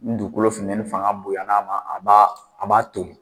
Ni dugukolo funtɛni fanga bonya a ma a b'a a b'a to.